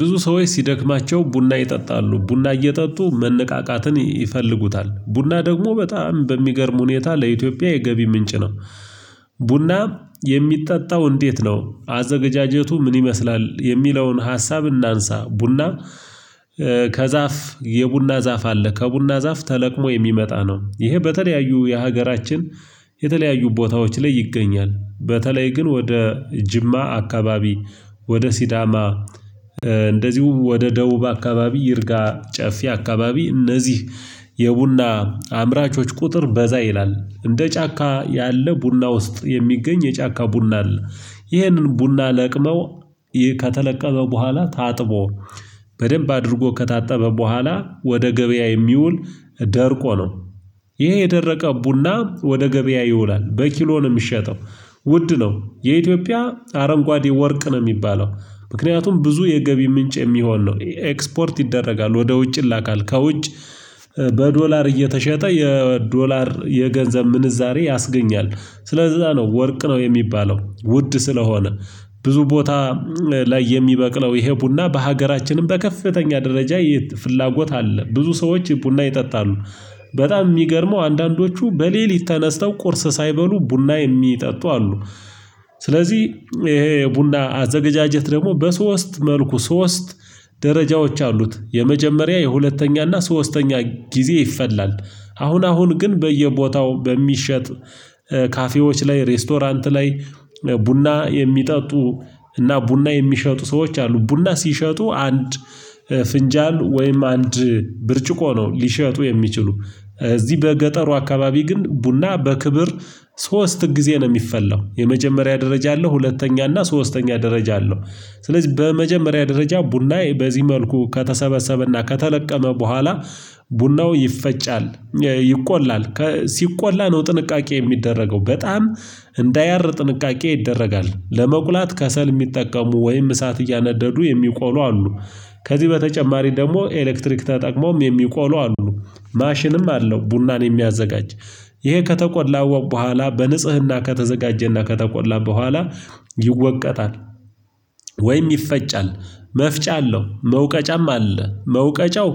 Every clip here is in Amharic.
ብዙ ሰዎች ሲደክማቸው ቡና ይጠጣሉ ቡና እየጠጡ መነቃቃትን ይፈልጉታል ቡና ደግሞ በጣም በሚገርም ሁኔታ ለኢትዮጵያ የገቢ ምንጭ ነው። ቡና የሚጠጣው እንዴት ነው አዘገጃጀቱ ምን ይመስላል የሚለውን ሀሳብ እናንሳ? ቡና ከዛፍ የቡና ዛፍ አለ ከቡና ዛፍ ተለቅሞ የሚመጣ ነው። ይሄ በተለያዩ የሀገራችን የተለያዩ ቦታዎች ላይ ይገኛል። በተለይ ግን ወደ ጅማ አካባቢ ወደ ሲዳማ እንደዚሁ ወደ ደቡብ አካባቢ ይርጋ ጨፊ አካባቢ። እነዚህ የቡና አምራቾች ቁጥር በዛ ይላል እንደ ጫካ ያለ ቡና ውስጥ የሚገኝ የጫካ ቡና አለ። ይህንን ቡና ለቅመው ከተለቀመ በኋላ ታጥቦ በደንብ አድርጎ ከታጠበ በኋላ ወደ ገበያ የሚውል ደርቆ ነው። ይሄ የደረቀ ቡና ወደ ገበያ ይውላል በኪሎ ነው የሚሸጠው። ውድ ነው የኢትዮጵያ አረንጓዴ ወርቅ ነው የሚባለው። ምክንያቱም ብዙ የገቢ ምንጭ የሚሆን ነው ኤክስፖርት ይደረጋል ወደ ውጭ ላካል ከውጭ በዶላር እየተሸጠ የዶላር የገንዘብ ምንዛሬ ያስገኛል። ስለዛ ነው ወርቅ ነው የሚባለው ውድ ስለሆነ። ብዙ ቦታ ላይ የሚበቅለው ይሄ ቡና በሀገራችንም በከፍተኛ ደረጃ ፍላጎት አለ ብዙ ሰዎች ቡና ይጠጣሉ። በጣም የሚገርመው አንዳንዶቹ በሌሊት ተነስተው ቁርስ ሳይበሉ ቡና የሚጠጡ አሉ። ስለዚህ ይሄ ቡና አዘገጃጀት ደግሞ በሶስት መልኩ ሶስት ደረጃዎች አሉት የመጀመሪያ የሁለተኛና ሶስተኛ ጊዜ ይፈላል። አሁን አሁን ግን በየቦታው በሚሸጥ ካፌዎች ላይ ሬስቶራንት ላይ ቡና የሚጠጡ እና ቡና የሚሸጡ ሰዎች አሉ። ቡና ሲሸጡ አንድ ፍንጃን ወይም አንድ ብርጭቆ ነው ሊሸጡ የሚችሉ። እዚህ በገጠሩ አካባቢ ግን ቡና በክብር ሶስት ጊዜ ነው የሚፈላው። የመጀመሪያ ደረጃ አለው ሁለተኛ እና ሶስተኛ ደረጃ አለው። ስለዚህ በመጀመሪያ ደረጃ ቡናዬ በዚህ መልኩ ከተሰበሰበና ከተለቀመ በኋላ ቡናው ይፈጫል። ይቆላል ሲቆላ ነው ጥንቃቄ የሚደረገው በጣም እንዳያር ጥንቃቄ ይደረጋል ለመቁላት ከሰል የሚጠቀሙ ወይም እሳት እያነደዱ የሚቆሉ አሉ። ከዚህ በተጨማሪ ደግሞ ኤሌክትሪክ ተጠቅሞም የሚቆሉ አሉ። ማሽንም አለው ቡናን የሚያዘጋጅ ይሄ ከተቆላ በኋላ በንጽህና ከተዘጋጀና ከተቆላ በኋላ ይወቀጣል። ወይም ይፈጫል መፍጫ አለው መውቀጫም አለ መውቀጫው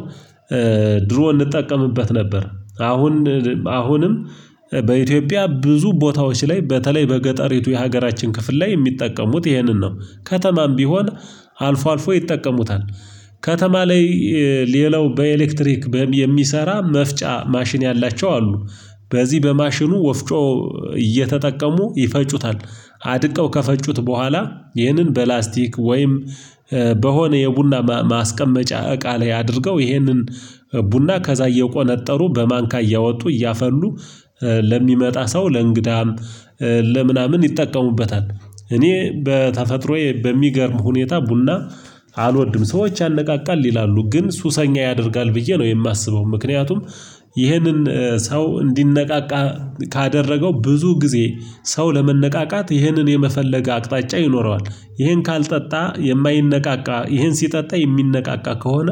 ድሮ እንጠቀምበት ነበር። አሁን አሁንም በኢትዮጵያ ብዙ ቦታዎች ላይ በተለይ በገጠሪቱ የሀገራችን ክፍል ላይ የሚጠቀሙት ይሄንን ነው። ከተማም ቢሆን አልፎ አልፎ ይጠቀሙታል። ከተማ ላይ ሌላው በኤሌክትሪክ በም የሚሰራ መፍጫ ማሽን ያላቸው አሉ። በዚህ በማሽኑ ወፍጮ እየተጠቀሙ ይፈጩታል። አድቀው ከፈጩት በኋላ ይህንን በፕላስቲክ ወይም በሆነ የቡና ማስቀመጫ እቃ ላይ አድርገው ይህንን ቡና ከዛ እየቆነጠሩ በማንካ እያወጡ እያፈሉ ለሚመጣ ሰው ለእንግዳም ለምናምን ይጠቀሙበታል። እኔ በተፈጥሮዬ በሚገርም ሁኔታ ቡና አልወድም። ሰዎች ያነቃቃል ይላሉ ግን ሱሰኛ ያደርጋል ብዬ ነው የማስበው። ምክንያቱም ይህንን ሰው እንዲነቃቃ ካደረገው ብዙ ጊዜ ሰው ለመነቃቃት ይህንን የመፈለግ አቅጣጫ ይኖረዋል ይህን ካልጠጣ የማይነቃቃ ይህን ሲጠጣ የሚነቃቃ ከሆነ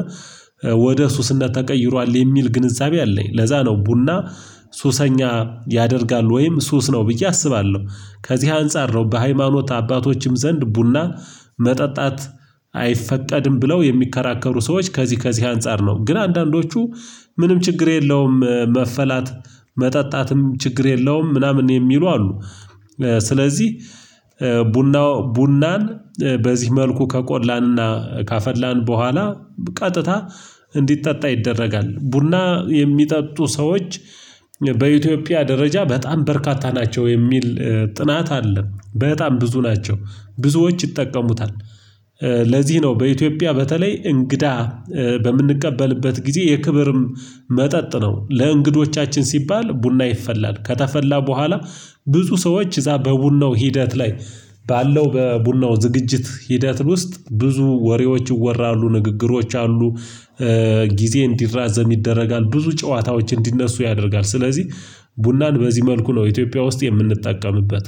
ወደ ሱስነት ተቀይሯል የሚል ግንዛቤ አለኝ። ለዛ ነው ቡና ሱሰኛ ያደርጋል ወይም ሱስ ነው ብዬ አስባለሁ። ከዚህ አንፃር ነው በሃይማኖት አባቶችም ዘንድ ቡና መጠጣት አይፈቀድም ብለው የሚከራከሩ ሰዎች ከዚህ ከዚህ አንፃር ነው ግን አንዳንዶቹ ምንም ችግር የለውም መፈላት መጠጣትም ችግር የለውም ምናምን የሚሉ አሉ። ስለዚህ ቡናው ቡናን በዚህ መልኩ ከቆላንና ካፈላን በኋላ ቀጥታ እንዲጠጣ ይደረጋል። ቡና የሚጠጡ ሰዎች በኢትዮጵያ ደረጃ በጣም በርካታ ናቸው የሚል ጥናት አለም በጣም ብዙ ናቸው ብዙዎች ይጠቀሙታል። ለዚህ ነው በኢትዮጵያ በተለይ እንግዳ በምንቀበልበት ጊዜ የክብርም መጠጥ ነው ለእንግዶቻችን ሲባል ቡና ይፈላል። ከተፈላ በኋላ ብዙ ሰዎች እዛ በቡናው ሂደት ላይ ባለው በቡናው ዝግጅት ሂደት ውስጥ ብዙ ወሬዎች ይወራሉ ንግግሮች አሉ። ጊዜ እንዲራዘም ይደረጋል ብዙ ጨዋታዎች እንዲነሱ ያደርጋል። ስለዚህ ቡናን በዚህ መልኩ ነው ኢትዮጵያ ውስጥ የምንጠቀምበት።